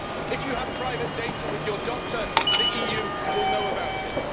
If you have private data with your doctor, the EU will know about it.